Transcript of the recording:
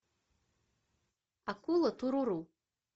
акула туруру